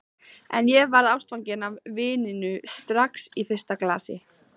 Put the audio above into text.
En ég varð ástfangin af víninu strax á fyrsta glasi.